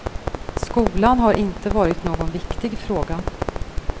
Skolan har inte varit någon viktig fråga.